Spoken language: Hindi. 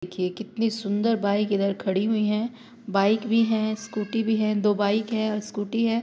देखिए कितनी सुंदर बाइक इधर खड़ी हुई हैं | बाइक भी हैं | स्कूटी भी है | दो बाइक हैं और स्कूटी है ।